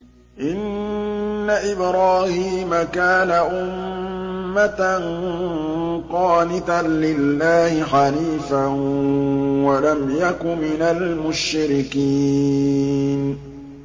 إِنَّ إِبْرَاهِيمَ كَانَ أُمَّةً قَانِتًا لِّلَّهِ حَنِيفًا وَلَمْ يَكُ مِنَ الْمُشْرِكِينَ